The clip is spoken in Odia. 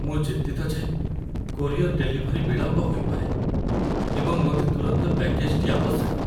ମୁଁ ଚିନ୍ତିତ ଯେ କୋରିଅର୍‌ ଡେଲିଭରି ବିଳମ୍ବ ହୋଇପାରେ, ଏବଂ ମୋତେ ତୁରନ୍ତ ପ୍ୟାକେଜ୍‌ଟି ଆବଶ୍ୟକ।